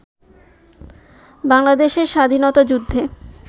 বাংলাদেশের স্বাধীনতাযুদ্ধে